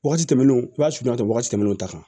Wagati tɛmɛnen o b'a sutura wagati tɛmɛnen o kan